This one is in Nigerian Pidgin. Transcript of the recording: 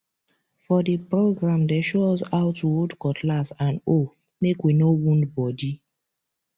for the program dem show us how to hold cutlass and hoe make we no wound body